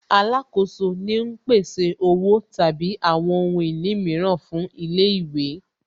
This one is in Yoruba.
Alákoso ni ń pèsè Owó tàbí àwọn ohun ìní mìíràn fún ilé ìwé